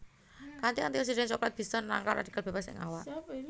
Kanthi antioksidan coklat bisa nangkal radikal bebas ing awak